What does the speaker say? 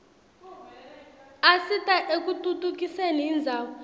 asita ekutfutfukiseni indzawo